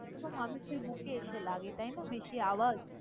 ~তো মানুষের বুকে এসে লাগে তাই না! বেশি আওয়াজ।